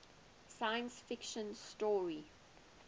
science fiction story